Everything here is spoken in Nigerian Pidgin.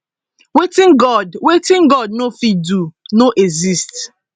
wetin god wetin god no fit do no exist